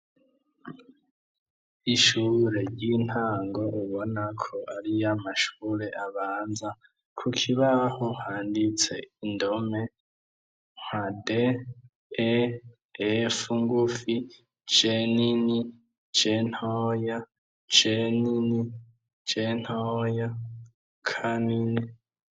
Ishure ry'intango ribona ko ari yamashure abanza ku kibaho handitse indome nka d e ef ngufi cenini jnyar cnini cenooya kanini.